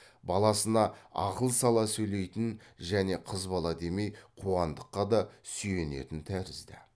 баласына ақыл сала сөйлейтін және қыз бала демей қуандыққа да сүйенетін тәрізді